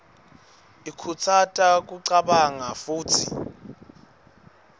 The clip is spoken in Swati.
ikhutsata kucabanga futsi